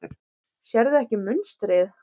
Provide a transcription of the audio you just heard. Sérðu ekki munstrið?